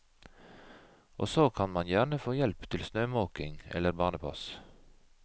Og så kan man gjerne få hjelp til snømåking eller barnepass.